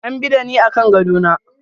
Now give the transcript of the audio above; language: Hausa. An bi da ni akan gado na.